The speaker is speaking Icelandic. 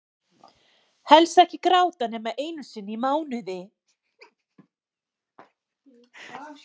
Helst ekki gráta nema einu sinni í mánuði.